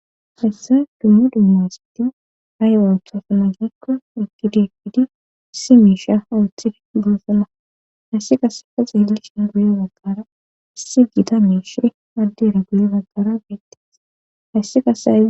hessay dummu dumma hisiti haywa wuthasa na gikko ekkidi ekkidi issi miisha ooththi guosana hayssi kaseka xeelisha guye baggara issi gita meeshe addere guli baggara beetteess hayssi kasei